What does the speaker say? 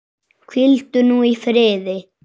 Hvíldu nú í friði.